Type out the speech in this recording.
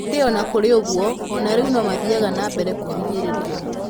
Ĩndĩ o na kũrĩ ũguo, o na rĩu no mathiaga na mbere kũhinyĩrĩrio.